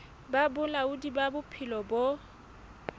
ba bolaodi ba bophelo bo